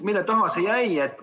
Mille taha see jäi?